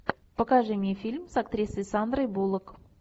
покажи мне фильм с актрисой сандрой буллок